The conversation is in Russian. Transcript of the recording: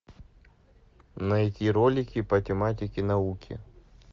найти ролики по тематике науки